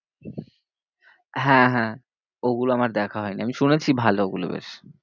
হ্যাঁ, হ্যাঁ, ওগুলো আমার দেখা হয়নি, আমি শুনেছি ভালো ওগুলো বেশ।